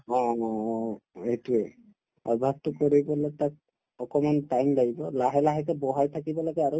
অ অ এইটোয়ে অভ্যাসতো কৰিবলৈ তাক অকনমান time লাগিব লাহে লাহেকে বঢ়াই থাকিব লাগে আৰু